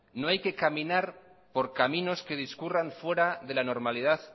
no hay que caminar por caminos que discurran fuera de la normalidad